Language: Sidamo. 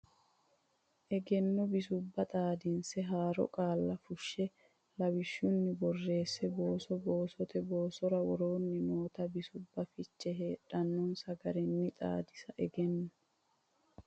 Egenno Bisubba Xaadinse Haaro Qaalla Fushsha Lawishsha nni boosonni booso boosote boosora Woroonni noota bisubba fiche heedhannonsa garinni xaadisse Egenno.